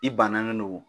I bannalen don